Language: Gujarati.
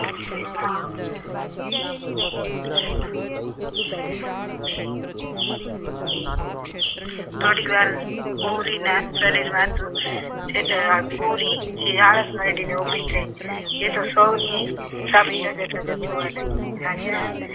થોડીવાર ઉંઘીને શરીર માની આળસ મરડીને ઉભી થઇ એ તો સૌઉની સામે ટગર ટગર જોવા લાગી રાજા